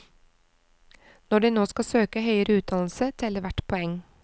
Når de nå skal søke høyere utdannelse, teller hvert poeng.